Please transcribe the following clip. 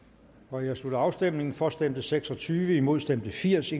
nu jeg slutter afstemningen for stemte seks og tyve imod stemte firs